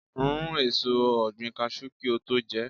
Rún èso ọ̀gbìn Kaṣú kí o tó jẹ ẹ́.